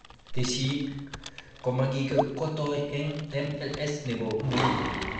Tessisyit komakikotoi eng MLS nebo nguni